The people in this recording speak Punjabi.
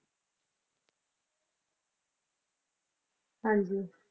ਹਾਂਜੀ